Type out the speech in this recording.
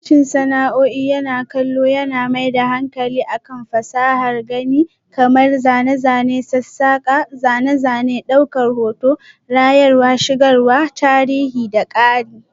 Sashen sana'a'i na kallo yana mai da hankali kan fasahar gani kamar zane, zane, sassaka, zane-zane, daukar hoto, rayarwa, shigarwa, tarihi da ƙari.